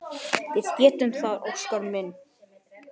Við gerum það, Óskar minn.